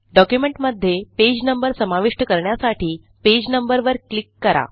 डॉक्युमेंटमध्ये page number समाविष्ट करण्यासाठी पेज नंबर वर क्लिक करा